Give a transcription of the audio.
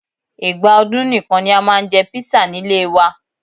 Ìgbà ọdún nìkan ni a máa ń jẹ kpisa nílé ẹ wa